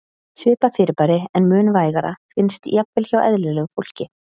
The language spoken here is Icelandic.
Svipað fyrirbæri, en mun vægara, finnst jafnvel hjá eðlilegu fólki.